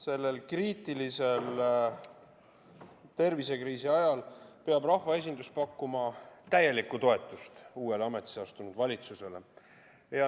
Sellel kriitilisel tervisekriisi ajal peab rahvaesindus pakkuma täielikku toetust uuele ametisse astunud valitsusele.